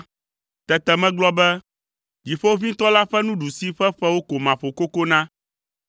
Tete megblɔ be, “Dziƒoʋĩtɔ la ƒe nuɖusi ƒe ƒewo ko maƒo koko na.”